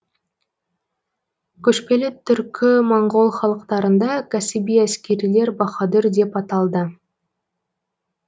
көшпелі түркі моңғол халықтарында кәсіби әскерилер баһадүр деп аталды